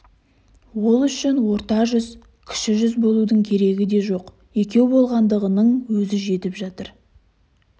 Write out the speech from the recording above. ол үшін орта жүз кіші жүз болудың керегі де жоқ екеу болғандығының өзі жетіп жатыр